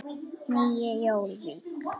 Nýju Jórvík.